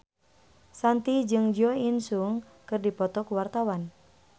Shanti jeung Jo In Sung keur dipoto ku wartawan